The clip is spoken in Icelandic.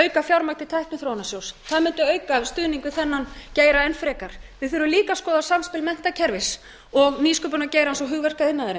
auka fjármagn til tækniþróunarsjóðs það mundi auka stuðning við þennan geira enn frekar við þurfum líka að skoða samspil menntakerfis og nýsköpunargeirans og